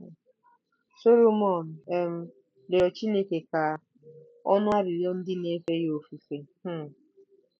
Solomọn um rịọrọ Chineke ka ọ nụ arịrịọ ndị na-efe ya ofufe um.